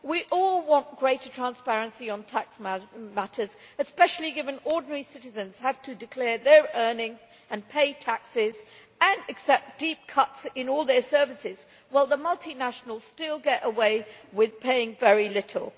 We all want greater transparency on tax matters, especially given that ordinary citizens have to declare their earnings and pay taxes and accept deep cuts in all their services, while the multinationals still get away with paying very little.